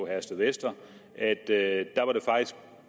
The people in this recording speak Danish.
herstedvester at det er